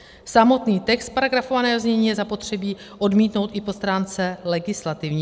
Samotný text paragrafovaného znění je zapotřebí odmítnout i po stránce legislativní.